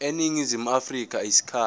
eningizimu afrika isikhathi